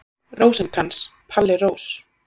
Rósinkrans, Palli Rós.